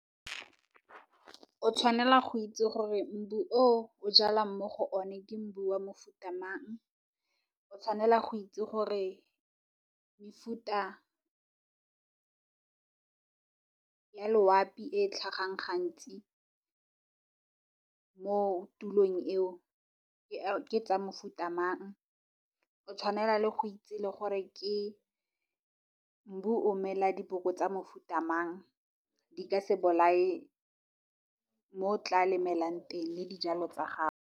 O tshwanela go itse gore mbu o o jalang mo go one ke mbu wa mofuta mang, o tshwanela go itse gore mefuta ya loapi e e tlhagang gantsi mo tulong eo ke ya mofuta mang, o tshwanela le go itse le gore mbu o mela diboko tsa mofuta mang. Di ka se bolae mo o tla lemelang teng le dijalo tsa gago.